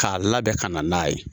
K'a labɛn ka na n'a ye.